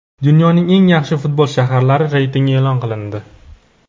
Dunyoning eng yaxshi futbol shaharlari reytingi e’lon qilindi.